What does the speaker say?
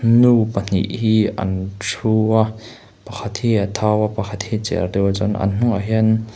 nu pahnih hi an thu a pakhat hi a thau a pakhat hi a cher deuh a chuan an hnungah hian--